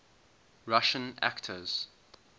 russian actors